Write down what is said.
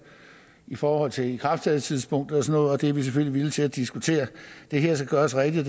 i forhold til ikrafttrædelsestidspunktet og sådan noget og det er vi selvfølgelig villige til at diskutere det her skal gøres rigtigt